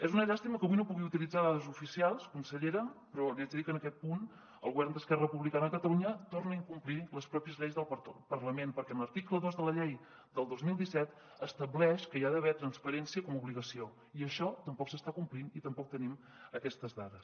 és una llàstima que avui no pugui utilitzar dades oficials consellera però li haig de dir que en aquest punt el govern d’esquerra republicana de catalunya torna a incomplir les pròpies lleis del parlament perquè l’article dos de la llei del dos mil disset estableix que hi ha d’haver transparència com a obligació i això tampoc s’està complint i tampoc tenim aquestes dades